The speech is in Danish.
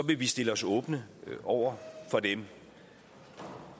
vil vi stille os åbne over for dem